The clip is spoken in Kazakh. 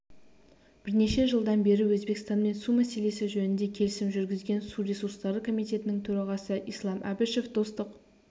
бірнеше жылдан бері өзбекстанмен су мәселесі жөнінде келісім жүргізген су ресурстары комитетінің төрағасы ислам әбішев достық